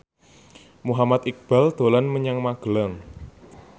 Muhammad Iqbal dolan menyang Magelang